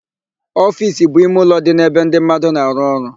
Ofiisi bụ ime ụlọ dị n'ebe ndị mmadụ na-arụ ọrụ.